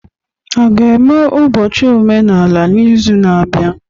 A ga-eme ụbọchị omenala n'izu na-abịa?